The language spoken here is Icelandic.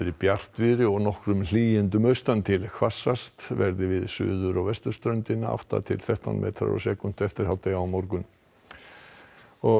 bjartviðri og nokkur hlýindi austan til hvassast verður við suður og vesturströndina átta til þrettán metrar á sekúndu eftir hádegi á morgun og